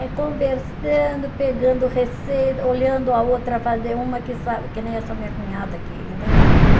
É conversando, pegando receita, olhando a outra fazer, uma que sabe, que nem essa minha cunhada aqui, ainda está viva.